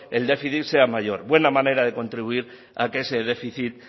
el déficit sea mayor buena manera de contribuir a que ese déficit